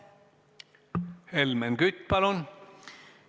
Helmen Kütt, palun!